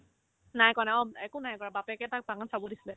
নাই কৰা নাই অ একো নাই বাৰু বাপেকে তাক বাগান চাব দিছিলে